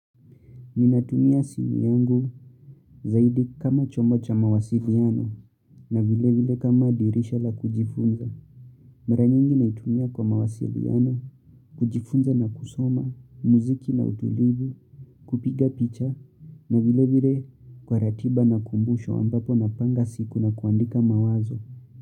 Ninatumia simu yangu zaidi kama chombo cha mawasiliano na vilevile kama dirisha la kujifunza. Mara nyingi naitumia kwa mawasiliano, kujifunza na kusoma, muziki na utulivu, kupiga picha na vilevile kwa ratiba na kumbusho ambapo napanga siku na kuandika mawazo.